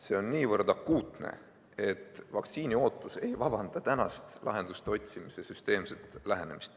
See on niivõrd akuutne, et vaktsiini ootus ei vabasta tänaste lahenduste otsimisel süsteemsest lähenemisest.